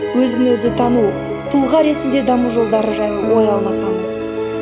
өзі өзі тану тұлға ретінде даму жолдары жайлы ой алмасамыз